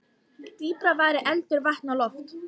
Dýpra væri eldur, vatn og loft.